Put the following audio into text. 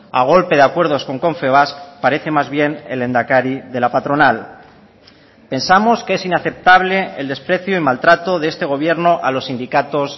a golpe de acuerdos con confebask parece más bien el lehendakari de la patronal pensamos que es inaceptable el desprecio y maltrato de este gobierno a los sindicatos